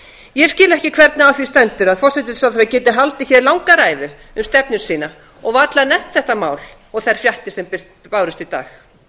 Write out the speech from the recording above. ég skil ekki hvernig á því stendur að hæstvirtur forsætisráðherra geti haldið langa ræðu um stefnu sína og varla nefnt þetta mál og þær fréttir sem bárust í dag